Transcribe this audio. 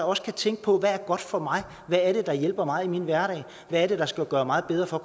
også kan tænke på hvad er godt for mig hvad er det der hjælper mig i min hverdag hvad er det der skal gøre mig bedre for